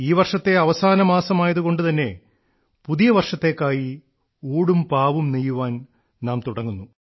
ഈ വർഷത്തെ അവസാന മാസമായതുകൊണ്ട് തന്നെ പുതിയ വർഷത്തേക്കായി ഊടും പാവും നെയ്യുവാൻ നാം തുടങ്ങുന്നു